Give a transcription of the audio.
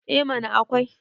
eh mana akwai